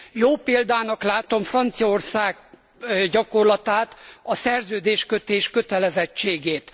Jó példának látom Franciaország gyakorlatát, a szerződéskötés kötelezettségét.